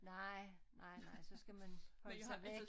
Nej nej nej så skal man holde sig væk